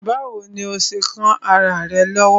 Báwo ni ó ṣe kán ará rẹ̀ lọ́wọ́?